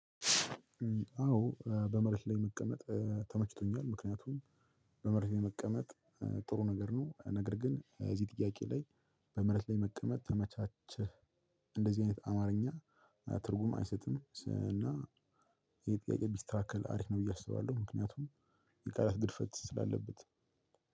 አዎ በመሬት ላይ መቀመጥ ተመችቶኛል። ምክንያቱም በመሬት ላይ መቀመጥ ጥሩ ነገር ነው። ነገር ግን እዚህ ጥያቄ ላይ በመሬት ላይ መቀመጥ ተመቻቻህ? እንደዚህ አይነት አማርኛ ትርጉም አይሰጥም ስ እና። ይሄ ጥያቄ ቢስተካከል አሪፍ ነው ብዬ አስባለሁ። ምክንያቱም የቃላት ግድፈት ስላለበት